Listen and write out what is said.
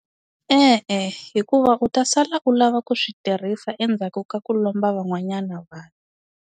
E-e hikuva u ta sala u lava ku swi tirhisa endzhaku ka ku lomba van'wanyana vanhu.